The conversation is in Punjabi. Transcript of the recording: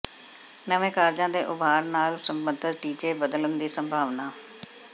ਨਵੇਂ ਕਾਰਜਾਂ ਦੇ ਉਭਾਰ ਨਾਲ ਸੰਬੰਧਤ ਟੀਚੇ ਬਦਲਣ ਦੀ ਸੰਭਾਵਨਾ